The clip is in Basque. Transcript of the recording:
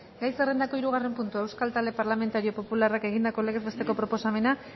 gai zerrendako hirugarren puntua euskal talde parlamentario popularrak egindako legez besteko proposamena